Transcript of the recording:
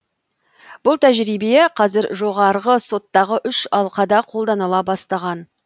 бұл тәжірибе қазір жоғарғы соттағы үш алқада қолданыла бастаған